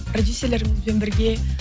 продюссерлерімізбен бірге